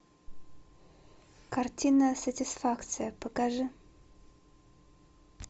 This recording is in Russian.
картина сатисфакция покажи